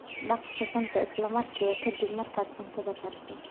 Dhaq suxuunta isla markiiba ka dib markaad cuntada kariso.